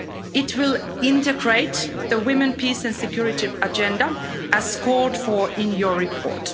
It will integrate the Women, Peace and Security Agenda, as called for in your report.